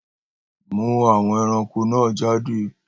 Mú àwọn ẹranko náà jáde!